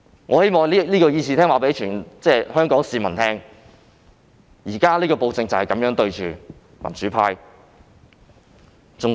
我希望在議事廳告訴全港市民，現在的暴政就是這樣對付民主派的。